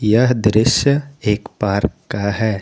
यह दृश्य एक पार्क का है।